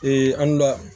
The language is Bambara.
an dunya